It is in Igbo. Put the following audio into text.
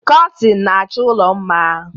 Kọtịn na-achọ ụlọ mma.